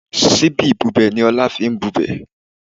Síbí ìbubẹ̀ ni Ọlá fi bubẹ̀